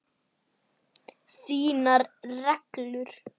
Þínar reglur?